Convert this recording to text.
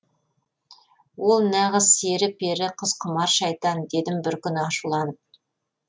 ол нағыз сері пері қызқұмар шайтан дедім бір күні ашуланып